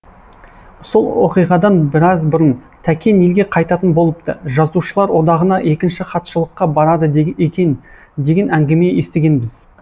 сол оқиғадан біраз бұрын тәкен елге қайтатын болыпты жазушылар одағына екінші хатшылыққа барады екен деген әңгіме естігенбіз